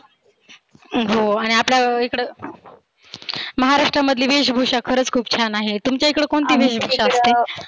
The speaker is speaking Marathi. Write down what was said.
हो आणि आपल्या इकडं महाराष्ट्रामधली वेशभुषा खरच खुप छान आहे. तुमच्या इकड कोणती वेशभुषा असते?